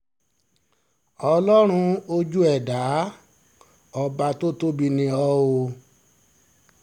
ọlọ́run ojú ẹ̀ dá ọba tó tóbi ni o o